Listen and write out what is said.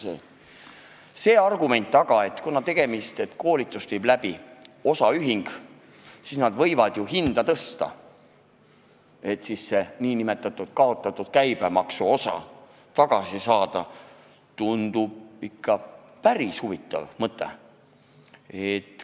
Välja käidud argument, et kuna koolitust viib läbi osaühing, siis nad võivad hinda tõsta, et see nn kaotatud käibemaksuosa tagasi saada, tundub ikka päris huvitav mõte.